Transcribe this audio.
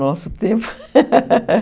Nosso tempo.